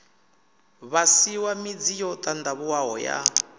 vhasiwa midzi yo ṱandavhuwaho ya